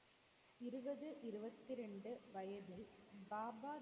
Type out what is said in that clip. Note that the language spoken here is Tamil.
பாபாது வயது,